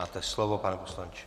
Máte slovo, pane poslanče.